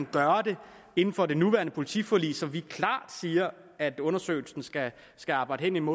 gøre det inden for det nuværende politiforlig som vi klart siger at undersøgelsen skal skal arbejde inden